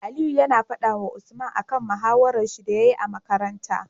Aliyu yAna fada wa Usman akan mahawarar shi da yayi a makaranta